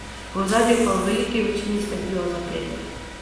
V ozadju pa v veliki večini sledijo zapleti.